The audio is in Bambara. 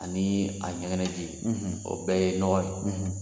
Anii a ɲɛgɛnɛji, o bɛɛ ye nɔgɔ ye.